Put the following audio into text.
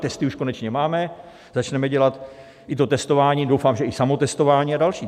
Testy už konečně máme, začneme dělat i to testování, doufám, že i samotestování a další.